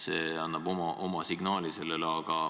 See annab oma signaali.